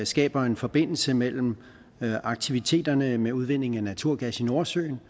skaber en forbindelse mellem aktiviteterne med udvinding af naturgas i nordsøen